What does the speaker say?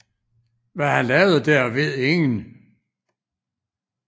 Hvad han lavede der ved ingen